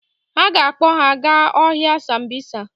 Ha ga-akpọ ha aga ọhịa Sambisa.